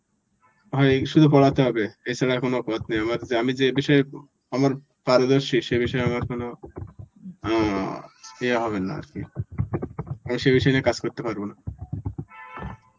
হয় শুধু পড়াতে হবে, এছাড়া আর কোনো পথ নেই আমার কাছে আমি যে বিষয়ে আমার~ পারদর্শী সে বিষয়ে আমার কোনো অ্যাঁ ইয়ে হবেন না আর কি. এই সেই বিষয় নিয়ে কাজ করতে পারবো না.